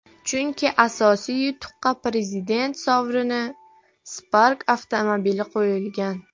Chunki asosiy yutuqqa Prezident sovrini – Spark avtomobili qo‘yilgan.